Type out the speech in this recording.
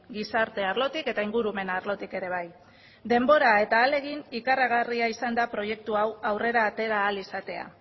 gizarte arlotik eta ingurumen arlotik ere bai denbora eta ahalegin ikaragarria izan da proiektu hau aurrera atera ahal izatea